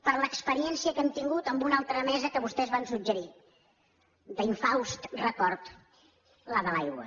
per l’experiència que hem tingut amb una altra mesa que vostès van suggerir d’infaust record la de l’aigua